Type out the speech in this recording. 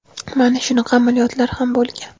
mana shunaqa amaliyotlar ham bo‘lgan.